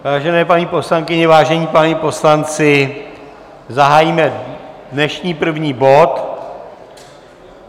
Vážené paní poslankyně, vážení páni poslanci, zahájíme dnešní první bod.